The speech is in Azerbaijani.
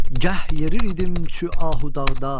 Gəh yer idim çü ahı dağda.